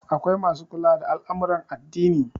akwai masu kula da al'amuran addini